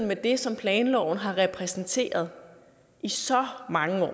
med det som planloven har repræsenteret i så mange år